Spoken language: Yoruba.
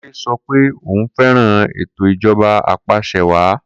Kunle sọ pé òun fẹ́ràn ètò ìjọba apàṣẹwàá